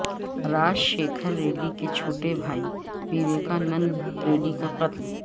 راج شیکھر ریڈی کے چھوٹے بھائی ویویکانند ریڈی کا قتل